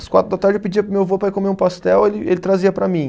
Às quatro da tarde eu pedia para o meu avô para ir comer um pastel, ele ele trazia para mim.